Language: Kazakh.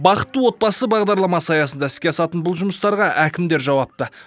бақытты отбасы бағдарламасы аясында іске асатын бұл жұмыстарға әкімдер жауапты